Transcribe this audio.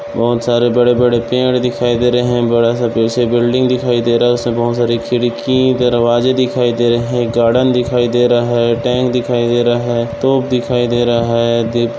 बहोत सारे बड़े बड़े पेड़ दिखाई दे रहे हैं। बड़ा सा पीछे बिल्डिंग दिखाई दे रहा है। उसमे बहोत सारे खिड़की दरवाजे दिखाई दे रहे हैं। गार्डन दिखाई दे रहा है। टैंक दिखाई दे रहा है। तोप दिखाई दे रहा है। दिप --